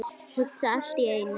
Hugsa allt í einu.